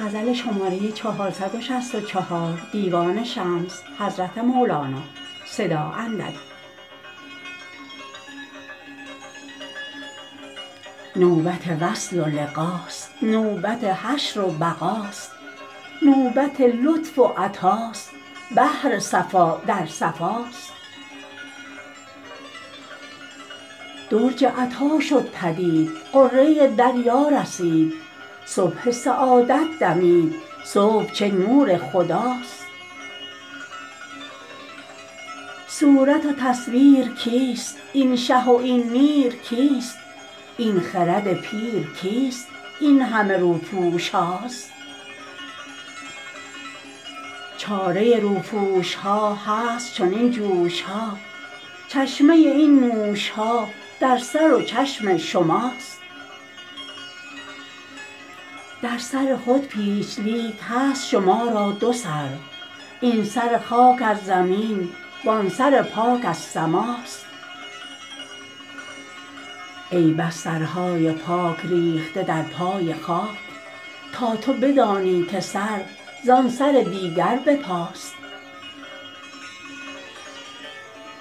نوبت وصل و لقاست نوبت حشر و بقاست نوبت لطف و عطاست بحر صفا در صفاست درج عطا شد پدید غره دریا رسید صبح سعادت دمید صبح چه نور خداست صورت و تصویر کیست این شه و این میر کیست این خرد پیر کیست این همه روپوش هاست چاره روپوش ها هست چنین جوش ها چشمه این نوش ها در سر و چشم شماست در سر خود پیچ لیک هست شما را دو سر این سر خاک از زمین وان سر پاک از سماست ای بس سرهای پاک ریخته در پای خاک تا تو بدانی که سر زان سر دیگر به پاست